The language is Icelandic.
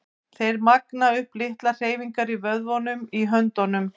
Þeir magna upp litlar hreyfingar í vöðvunum í höndunum.